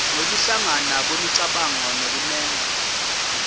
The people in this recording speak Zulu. nokuhlangana kwemicabango nokunemba